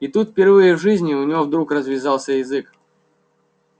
и тут впервые в жизни у него вдруг развязался язык